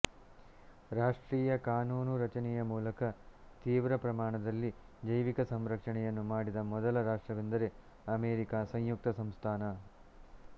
ರಾಷ್ಟ್ರೀಯ ಕಾನೂನು ರಚನೆಯ ಮೂಲಕ ತೀವ್ರ ಪ್ರಮಾಣದಲ್ಲಿ ಜೈವಿಕ ಸಂರಕ್ಷಣೆಯನ್ನು ಮಾಡಿದ ಮೊದಲ ರಾಷ್ಟ್ರವೆಂದರೆ ಅಮೆರಿಕ ಸಂಯುಕ್ತ ಸಂಸ್ಥಾನ